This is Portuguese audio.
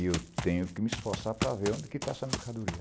E eu tenho que me esforçar para ver onde está essa mercadoria.